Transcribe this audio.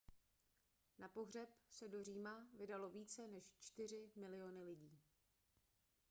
na pohřeb se do říma vydalo více než čtyři miliony lidí